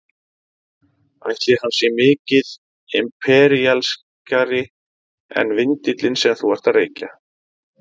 Ætli hann sé mikið imperíalískari en vindillinn sem þú ert að reykja?